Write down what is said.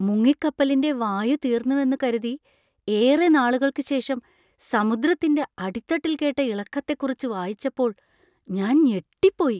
മുങ്ങിക്കപ്പലിന്‍റെ വായു തീർന്നുവെന്നു കരുതി ഏറെ നാളുകൾക്കു ശേഷം സമുദ്രത്തിന്‍റെ അടിത്തട്ടിൽ കേട്ട ഇളക്കത്തെക്കുറിച്ച് വായിച്ചപ്പോൾ ഞാൻ ഞെട്ടിപ്പോയി.